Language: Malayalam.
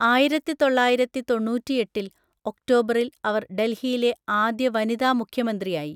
ആയിരത്തിതൊള്ളയിരത്തിതൊണ്ണൂറ്റിഎട്ടിൽ ഒക്ടോബറിൽ അവർ ഡൽഹിയിലെ ആദ്യ വനിതാമുഖ്യമന്ത്രിായി.